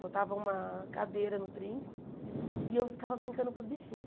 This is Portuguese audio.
Botava uma cadeira no trinco e eu ficava brincando com os bichinhos.